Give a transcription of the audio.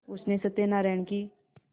उसने सत्यनाराण की